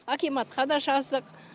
акиматқа да жаздық